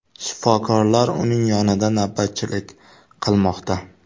Shifokorlar uning yonida navbatchilik qilmoqda.